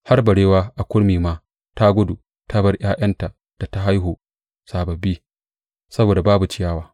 Har barewa a kurmi ma ta gudu ta bar ’ya’yan da ta haihu sababbi saboda babu ciyawa.